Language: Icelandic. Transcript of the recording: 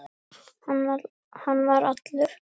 Mundu mig, ég man þig.